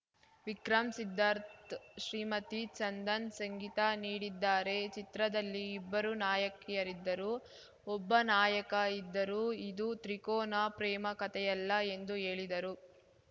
ವಿಕ್ರಂ ಸಿದ್ದಾರ್ಥ್ ಶ್ರೀಮತಿ ಚಂದನ್‌ ಸಂಗೀತ ನೀಡಿದ್ದಾರೆ ಚಿತ್ರದಲ್ಲಿ ಇಬ್ಬರು ನಾಯಕಿಯರಿದ್ದರೂ ಒಬ್ಬ ನಾಯಕ ಇದ್ದರೂ ಇದು ತ್ರಿಕೋನ ಪ್ರೇಮ ಕಥೆಯಲ್ಲ ಎಂದು ಹೇಳಿದರು